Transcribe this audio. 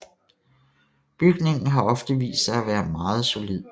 Bygningen har ofte vist sig at være meget solid